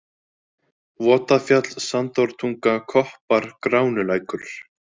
Votafjall, Sandártunga, Koppar, Gránulækur